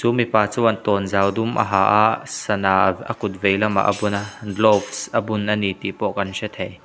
mipa chuan tawnzau dum a ha a sana av a kut vei lamah a bun a gloves a bun a ni tih pawh kan hre thei.